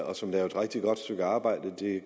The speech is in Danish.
og som laver et rigtig godt stykke arbejde